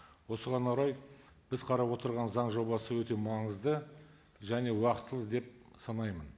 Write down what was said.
осыған орай біз қарап отырған заң жобасы өте маңызды және уақытылы деп санаймын